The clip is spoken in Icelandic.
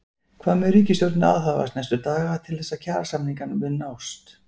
Hvað mun ríkisstjórnin aðhafast næstu daga til þess að kjarasamningar muni nást?